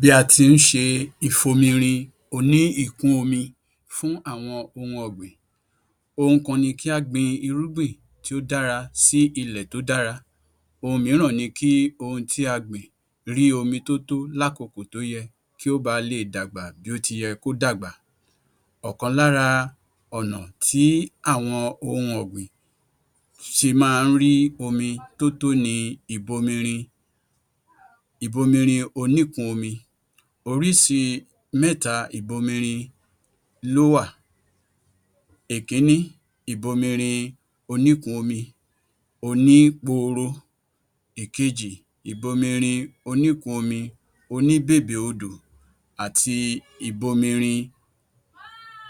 Bí a tí n ṣe ìfomirin oní-ìkúnomi fún àwọn ohun ọ̀gbìn Ohun kan ni kí a gbin irúgbìn tí ó dára sí ilẹ̀ tó dára. Ohun mìíràn ni kí ohun tí a gbìn rí omi tó tó lákokò tó yẹ kí ó bá lé è dàgbà bí ó ti yẹ kí ó dàgbà. Ọ̀kan lára ọ̀nà tí àwọn ohun ọ̀gbìn ṣe máa ń rí omi tó tó ni ìbomirin ìbomirin oníkùn-ún-omi. Orísi mẹ́ta ìbomirin ló wà. Ìkíní ìbomirin oníkùn-ún-omi onípooro, ìkejì ìbomirin oníkùn-ún-omi oníbèbè-odò àti ìbomirin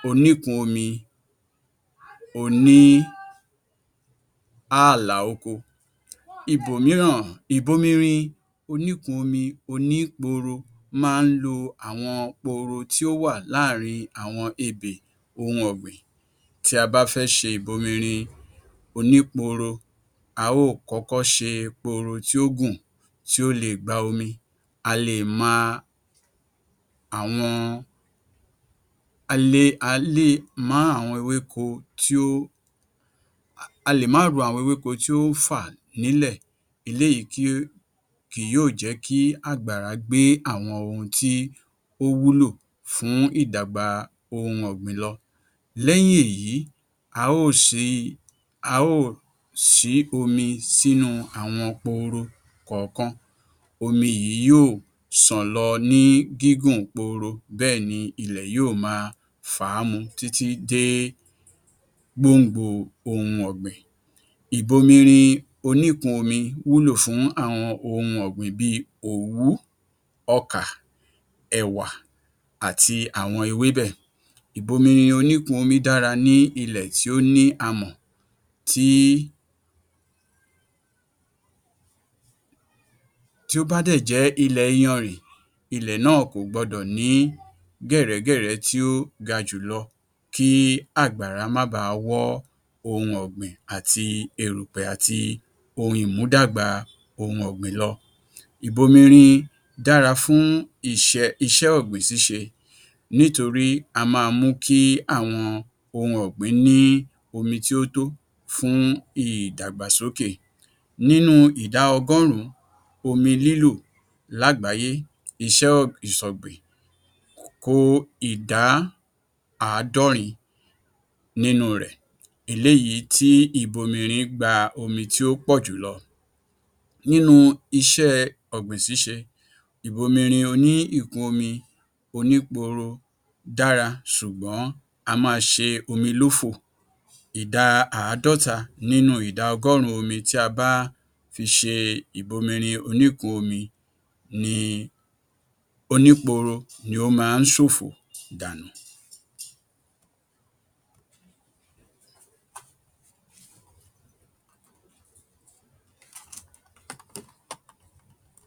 oníkùn-ún-omi oní-ààlà-oko. Ibòmíràn ìbomirin oníkùn-ún-omi onípooro máa ń lo àwọn pooro tí ó wà láàrín àwọn ebè ohun ọ̀gbìn. Tí a bá fẹ ṣe ìbomirin onípooro a ó kọ́kọ́ ṣe pooro tí ó gùn tí ó leè gba omi. A lè má àwọn a lè a lè mú àwọn ewéko tí ó a lè má ro àwọn ewéko tí ó ń fà nílẹ̀. Eléyìí kí ó kí yóò jẹ́ kí àgbàrá gbé àwọn ohun tí ó wúlò fún ìdàgbà ohun ọ̀gbìn lọ. Lẹ́yìn èyí a ó si, a ó si bomi sínú àwọn pooro kọ̀ọ̀kan. Omi yìí yóò ṣàn lọ ní gígùn pooro, bẹ́ẹ̀ ní ilẹ̀ yóò máa fàá mu títí dé gbòǹgbo ohun ọ̀gbìn. Ìbomirin oníkùn-ún-omi wúlò fún àwọn ohun ọ̀gbìn bíi òwú, ọkà, ẹ̀wà àti àwọn ewébẹ̀. Ìbomirin oníkùn-ún-omi dára ní ilẹ̀ tí ó ní amọ̀ tí tí ó bá dẹ̀ jẹ́ ilẹ̀ iyanrìn, ilẹ̀ náà kò gbọdọ̀ ní gẹ̀rẹ́gẹ̀rẹ́ tí ó gajù lọ kí àgbàrá ma bà wọ́ ohun ọ̀gbìn, àti erùpẹ̀ àti ohun ìmúdàgbà ohun ọ̀gbìn lọ. Ìbomirin dára fún iṣẹ́ iṣẹ́ ọ̀gbìn ṣíṣe nítorí á máa mú kí àwọn ohun ọ̀gbìn ní omi tí ó tó fún ìdàgbàsókè. Nínú ìdá ọgọ́rùn-ún omi lílò lágbàáyé iṣẹ́ um ìṣọ̀gbìn kó ìdá àádọ́rin nínú rẹ̀, eléyìí tí ìbominrin gba omi tí ó pọ̀jù lọ. Nínú iṣẹ́ ọ̀gbìn ṣíṣe, ìbomirin oní ìkún-omi onípooro dára ṣùgbọ́n á máa ṣe omi lófo. Ìdá àádọ́ta nínú ìdá ọgọ́rùn-ún omi tí a bá fi ṣe ìbomirin oníkùno-ún-omi ni onípooro ní ó á máa ṣòfò dànù